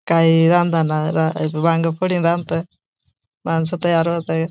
काई अजु काई रांदना वांग फोड़ी न रांदत माणस तयार होताय.